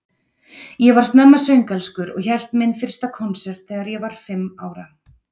Ég var snemma söngelskur og hélt minn fyrsta konsert þegar ég var fimm ára.